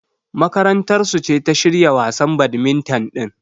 Makarantar su ce ta shirya wasan badmintan din.